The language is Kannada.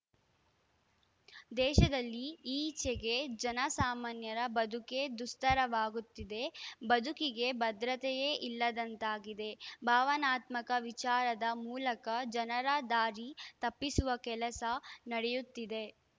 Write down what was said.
ದೇಶದಲ್ಲಿ ಈಚೆಗೆ ಜನ ಸಾಮಾನ್ಯರ ಬದುಕೇ ದುಸ್ತರವಾಗುತ್ತಿದೆ ಬದುಕಿಗೆ ಭದ್ರತೆಯೇ ಇಲ್ಲದಂತಾಗಿದೆ ಭಾವನಾತ್ಮಕ ವಿಚಾರದ ಮೂಲಕ ಜನರ ದಾರಿ ತಪ್ಪಿಸುವ ಕೆಲಸ ನಡೆಯುತ್ತಿದೆ